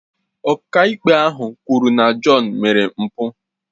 Ọkàikpe ahụ kwuru na John mere mpụ